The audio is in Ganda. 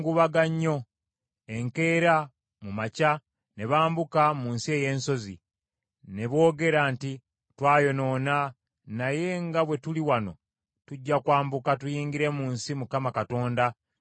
Enkeera mu makya ne bambuka mu nsi ey’ensozi. Ne boogera nti, “Twayonoona, naye nga bwe tuli wano tujja kwambuka tuyingire mu nsi Mukama Katonda gye yatusuubiza.”